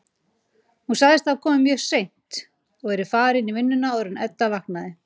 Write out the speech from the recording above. Hún sagðist hafa komið mjög seint og verið farin í vinnuna áður en Edda vaknaði.